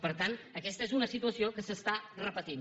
per tant aquesta és una situació que s’està repetint